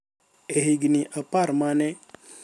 E higini apar ma ne